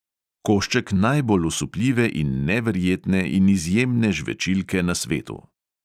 Košček najbolj osupljive in neverjetne in izjemne žvečilke na svetu!